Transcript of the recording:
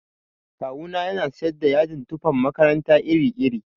Kawu na yana siyar da yadin tufan makaranta iri iri.